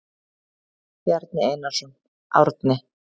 Bjarni Einarsson, Árni.